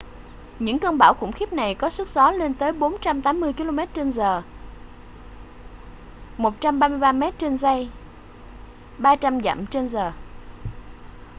những cơn bão khủng khiếp này có sức gió lên tới 480 km/giờ 133 m/giây; 300 dặm/giờ